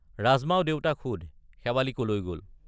ৰাজমাও দেউতাক সোধ— শেৱালি কলৈ গল?